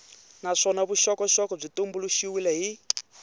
naswona vuxokoxoko byi tumbuluxiwile hi